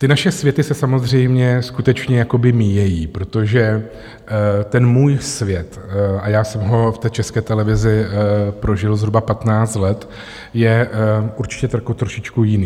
Ty naše světy se samozřejmě skutečně jakoby míjejí, protože ten můj svět, a já jsem ho v té České televizi prožil zhruba 15 let, je určitě trošičku jiný.